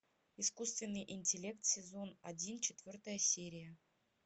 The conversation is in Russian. искусственный интеллект сезон один четвертая серия